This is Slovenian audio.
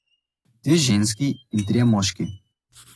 Dve ženski in trije moški.